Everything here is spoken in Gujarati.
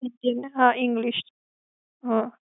હા English. હા